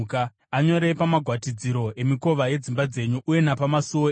Anyorei pamagwatidziro emikova yedzimba dzenyu uye napamasuo enyu,